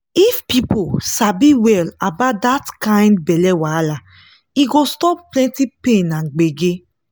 if people sabi well about that kind belle wahala e go stop plenty pain and gbege.